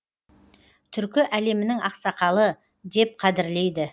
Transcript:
түркі әлемінің ақсақалы деп қадірлейді